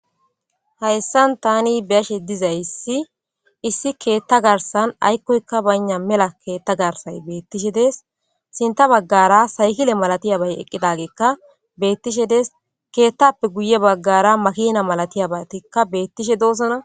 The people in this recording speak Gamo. Haysan tani be'ashe dizaysi issi ketha garsan aykoyka bayna mela ketha garsan betishe des sinta bagara saykile malatiyabay eqidageka betishe des kethape guye bagara makina malatiyabatika betishe dosona.